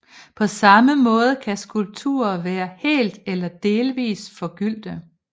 På samme måde kan skulpturer være helt eller delvis forgyldte